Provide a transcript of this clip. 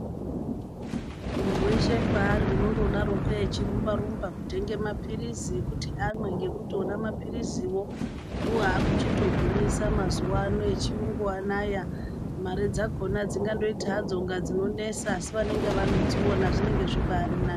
Munhu weshe paari unondodaroko echirumba-rumba kutenge mapirizi ekuti amwe, ngekuti ona mapiriziwo ndiwo aakuchitogwinyisa mazuwa ano echiyungu anaya. Mare dzakhona dzingandoita hadzo kunga dzinonesa asi vanenge vadziona zvinenge zvibaari nani.